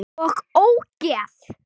OG ÓGEÐ!